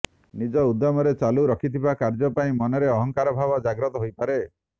ନିଜ ଉଦ୍ୟମରେ ଚାଲୁ ରଖିଥିବା କାର୍ଯ୍ୟ ପାଇଁ ମନରେ ଅହଂଭାବ ଜାଗ୍ରତ ହୋଇପାରେ